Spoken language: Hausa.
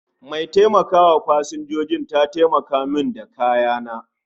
Mai taimaka wa Pasanjoji ta taimaka mun da kayana